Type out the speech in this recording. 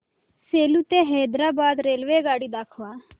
सेलू ते हैदराबाद रेल्वेगाडी दाखवा